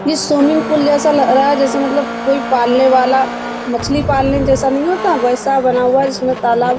ये swimming pool जैसा लग रहा है जैसे मतलब कोई पालने वाला मछली पालने जैसा नहीं होता वैसा बना हुआ है जिसमे तालाब --